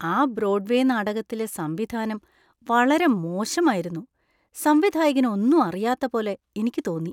ആ ബ്രോഡ്‌വേ നാടകത്തിലെ സംവിധാനം വളരെമോശമായിരുന്നു. സംവിധായകന് ഒന്നും അറിയാത്ത പോലെ എനിക്ക് തോന്നി.